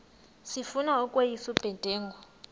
sifuna ukweyis ubudenge